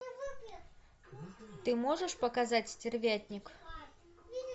ты можешь показать стервятник